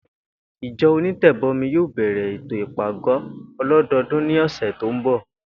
Ìjo̩ onítè̩bo̩mi yóò bè̩rè̩ ètò ìpàgó̩ o̩ló̩do̩o̩dún ní ò̩sè̩ tó ń bò̩